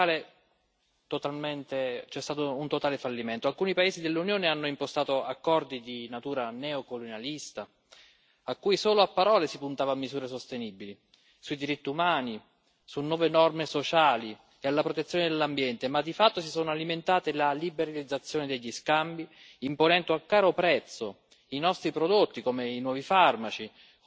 Alcuni paesi dell'Unione hanno impostato accordi di natura neocolonialista, in cui solo a parole si puntava a misure sostenibili sui diritti umani, su nuove norme sociali e sulla protezione dell'ambiente, ma di fatto si è alimentata la liberalizzazione degli scambi, imponendo a caro prezzo i nostri prodotti, come i nuovi farmaci, come i prodotti trasformati o quelli di tecnologia avanzata come i telefonini.